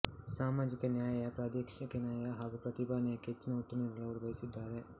ಸಾಮಾಜಿಕ ನ್ಯಾಯ ಪ್ರಾದೇಶಿಕ ನ್ಯಾಯ ಹಾಗೂ ಪ್ರತಿಭಾ ನ್ಯಾಯಕ್ಕೆ ಹೆಚ್ಚಿನ ಒತ್ತು ನೀಡಲು ಅವರು ಬಯಸಿದ್ದಾರೆ